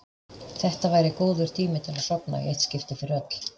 Þetta væri góður tími til að sofna í eitt skipti fyrir öll.